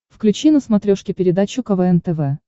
включи на смотрешке передачу квн тв